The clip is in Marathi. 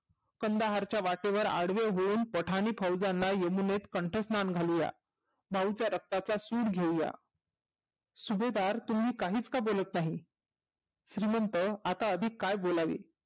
कंदहारच्या वाटेवर आडवे होऊन पठानी फौजांना यमुनेत कंठस्नान घालूया. जाऊच्या रक्ताचा सुड घेऊया, सुभेदार तुम्ही काहीच का बोलत नाही. श्रिमंत अता अधीक काय बोलावे?